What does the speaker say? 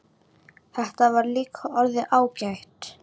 Þetta var líka orðið ágætt.